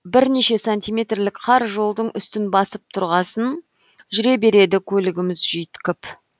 бірнеше сантиметрлік қар жолдың үстін басып тұрғасын жүре береді көлігіміз жүйткіп